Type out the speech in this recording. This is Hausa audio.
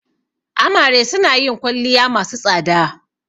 Amare suna yin kwalliya masu tsada.